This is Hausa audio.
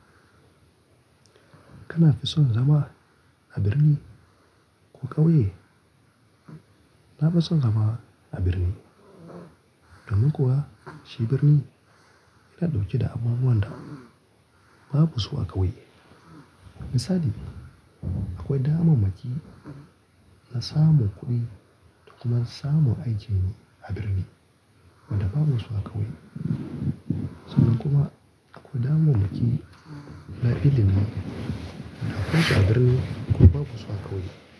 Kana fison zama a birni ko ƙauye? Na fison zama a birni. Domin kuwa shi birni yana ɗauke da abubuwan da babu su a ƙauye. Misali akwai damammaki na samun kuɗi da kuma samun aiki ne a birni wanda babu su a ƙauye. Sannan kuma akwai damammaki na ilimi da akwai su a birni kuma babu su a ƙauye.